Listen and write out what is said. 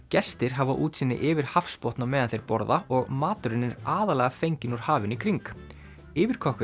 gestir hafa útsýni yfir hafsbotn á meðan þeir borða og maturinn er aðallega fenginn úr hafinu í kring